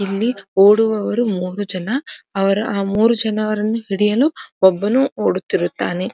ಇಲ್ಲಿ ಓಡುವವರು ಮೂರು ಜನ ಅವರ ಆ ಮೂರು ಜನವರನ್ನು ಹಿಡಿಯಲು ಒಬ್ಬನು ಓಡುತ್ತಿರುತ್ತಾನೆ.